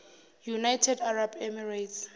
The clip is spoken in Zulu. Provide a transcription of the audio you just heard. united arab emirates